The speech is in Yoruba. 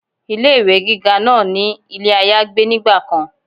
Ilé ìwé gíga náà ní ilé àyágbé nígbà kan